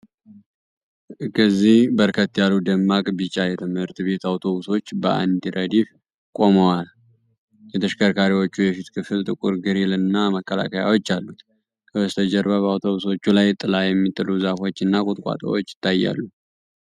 እዚህ በርከት ያሉ ደማቅ ቢጫ የትምህርት ቤት አውቶቡሶች በአንድ ረድፍ ቆመዋል። የተሽከርካሪዎቹ የፊት ክፍል ጥቁር ግሪል እና መከላከያዎች አሉት። ከበስተጀርባ በአውቶቡሶቹ ላይ ጥላ የሚጥሉ ዛፎችና ቁጥቋጦዎች ይታያሉ።